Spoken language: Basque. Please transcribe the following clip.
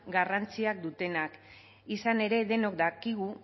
garrantzia dutenak izan ere denok dakigu